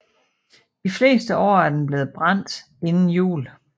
De fleste år er den blevet brændt inden jul